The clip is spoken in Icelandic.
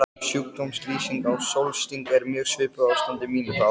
Sjúkdómslýsing á sólsting er mjög svipuð ástandi mínu þá.